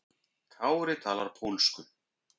Kári talar pólsku.